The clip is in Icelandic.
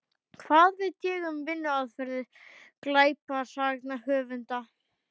Hvað veit ég um vinnuaðferðir glæpasagnahöfunda?